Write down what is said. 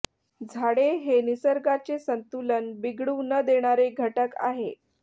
झाडे हे निसर्गाचे संतुलन बिघडू न देणारे घटक आहे